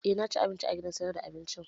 Eh na ci abinci a gidan sayar da abincin